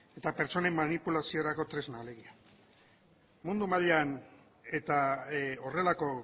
eta pertsonen manipulaziorako tresna alegia mundo mailan eta horrelako